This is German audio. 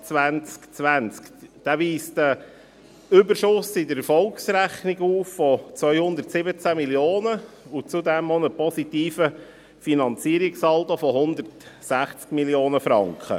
Dieser weist einen Überschuss in der Erfolgsrechnung von 217 Mio. Franken auf und zudem einen positiven Finanzierungssaldo von 160 Mio. Franken.